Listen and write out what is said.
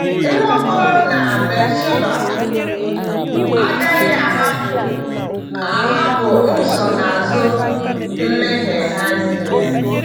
Nwaokolo na Bathsheba agaghị ahapụ ahapụ nsonaazụ mmehie ha niile.